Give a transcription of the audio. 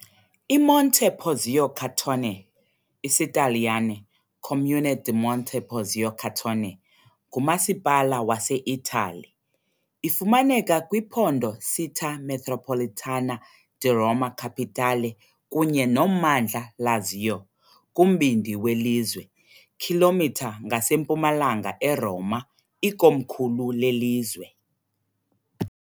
IMonte Porzio Catone, IsiTaliyane, Comune di Monte Porzio Catone, ngumasipala waseItali. Ifumaneka kwiphondo Città metropolitana di Roma Capitale kunye nommandla Lazio, kumbindi welizwe, km ngasempumalanga eRoma, ikomkhulu lelizwe.